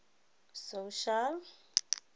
social